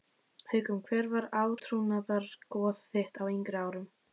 Haukum Hver var átrúnaðargoð þitt á yngri árum?